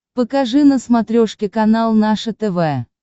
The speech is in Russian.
покажи на смотрешке канал наше тв